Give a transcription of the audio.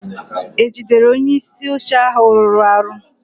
e jidere onyeisi oche ahụ rụrụ arụ?